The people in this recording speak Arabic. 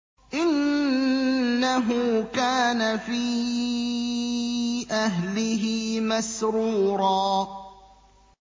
إِنَّهُ كَانَ فِي أَهْلِهِ مَسْرُورًا